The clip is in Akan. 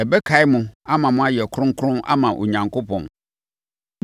Ɛbɛkae mo ama moayɛ kronkron ama Onyankopɔn.